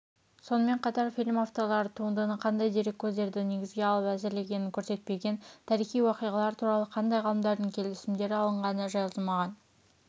сонымен қатар фильм авторлары туындыны қандай дереккөздерді негізге алып әзірлегенін көрсетпеген тарихи уақиғалар туралы қандай ғалымдардың келісімдері алынғаны жазылмаған